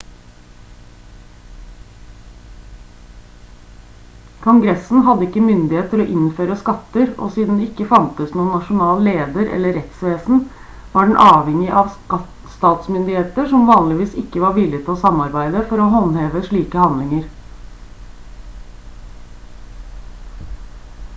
kongressen hadde ikke myndighet til å innføre skatter og siden det ikke fantes noen nasjonal leder eller rettsvesen var den avhengig av statsmyndigheter som vanligvis ikke var villig til å samarbeide for å håndheve sine handlinger